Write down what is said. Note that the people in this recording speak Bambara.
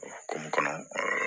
Ko mun kɔnɔ